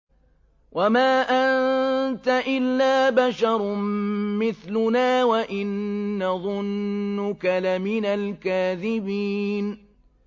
وَمَا أَنتَ إِلَّا بَشَرٌ مِّثْلُنَا وَإِن نَّظُنُّكَ لَمِنَ الْكَاذِبِينَ